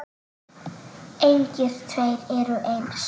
Engir tveir eru eins.